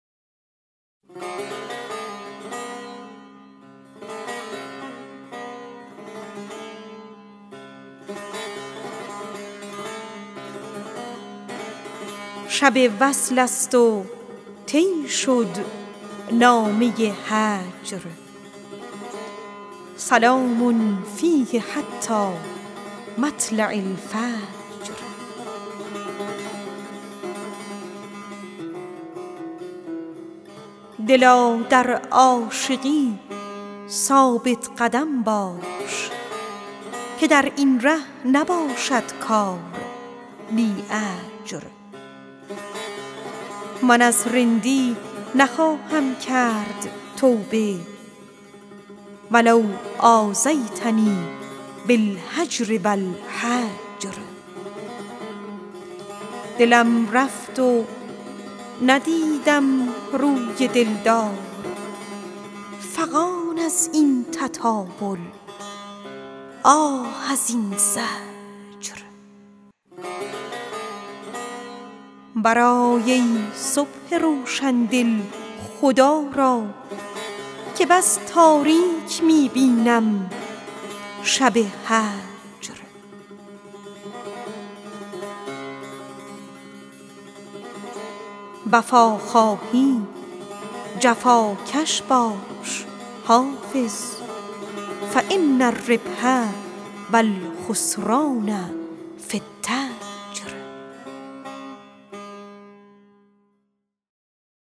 شب وصل است و طی شد نامه هجر سلام فیه حتی مطلع الفجر دلا در عاشقی ثابت قدم باش که در این ره نباشد کار بی اجر من از رندی نخواهم کرد توبه و لو آذیتنی بالهجر و الحجر برآی ای صبح روشن دل خدا را که بس تاریک می بینم شب هجر دلم رفت و ندیدم روی دل دار فغان از این تطاول آه از این زجر وفا خواهی جفاکش باش حافظ فان الربح و الخسران في التجر